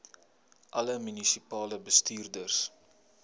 alle munisipale bestuurders